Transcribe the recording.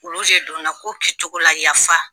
Olu de donna ko kɛcogo la yafa